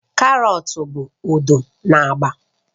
Karọt bụ odo na agba